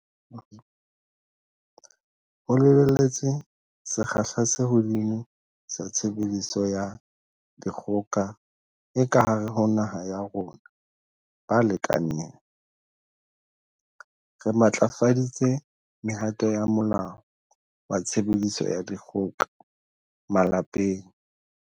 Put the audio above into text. Ho lebelletswe sekgahla se hodimo sa tshebediso ya dikgoka e ka hare ho naha ya rona balekaneng, re matlafaditse mehato ya Molao wa Tshebediso ya Dikgoka Malapeng.